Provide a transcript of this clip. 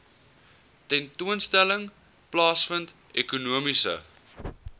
tentoonstelling plaasvind ekonomiese